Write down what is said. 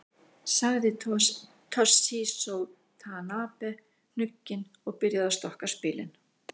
Sagði Toshizo Tanabe hnugginn og byrjaði að stokka spilin.